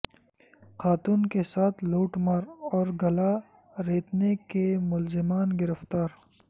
خاتون کے ساتھ لوٹ مار اور گلا ریتنے کےملزمان گرفتار